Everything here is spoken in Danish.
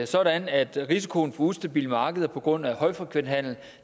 sådan at risikoen for ustabile markeder på grund af højfrekvenshandel